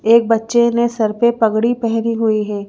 एक बच्चे ने सर पर पगड़ी पहनी हुई है।